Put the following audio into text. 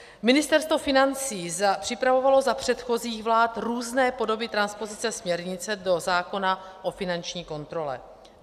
Ministerstvo financí připravovalo za předchozích vlád různé podoby transpozice směrnice do zákona o finanční kontrole.